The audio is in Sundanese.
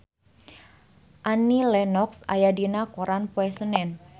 Annie Lenox aya dina koran poe Senen